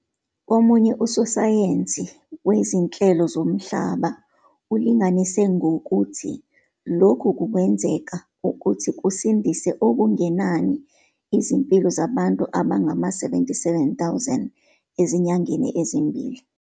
Omunye usosayensi wezinhlelo zomhlaba ulinganise ukuthi lokhu kungenzeka ukuthi kusindise kungenani izimpilo zabantu abangama-77 000 ezinyangeni ezimbili.